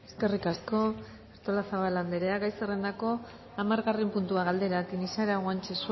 eskerrik asko artolazabal anderea gai zerendako hamargarren puntua galdera tinixara guanche